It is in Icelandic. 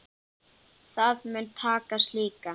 Það mun takast líka.